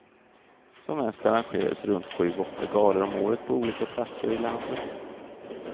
Som mest arrangerades runt sju, åtta galor om året på olika platser i landet.